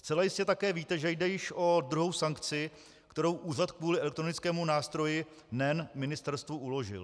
Zcela jistě také víte, že jde již o druhou sankci, kterou Úřad kvůli elektronickému nástroji NEN ministerstvu uložil.